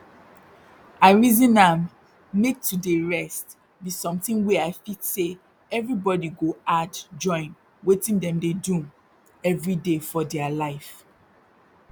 i reason am make to dey rest be something wey i fit say everybody go add join watin dem dey do everyday for dere life